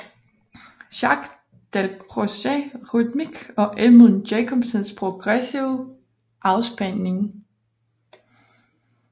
Jacques Dalcrozes rytmik og Edmund Jacobsens progressive afspænding